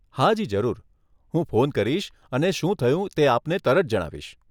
હાજી, જરૂર, હું ફોન કરીશ અને શું થયું તે આપને તરત જણાવીશ.